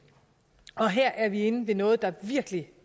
og her er vi inde ved noget der virkelig